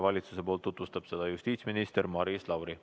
Valitsuse nimel tutvustab seda justiitsminister Maris Lauri.